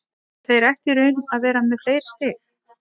Þeir ættu í raun að vera með fleiri stig.